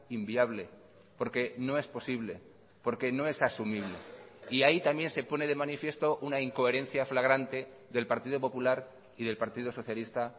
inviable porque no es posible porque no es asumible y ahí también se pone de manifiesto una incoherencia flagrante del partido popular y del partido socialista